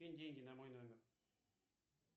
кинь деньги на мой номер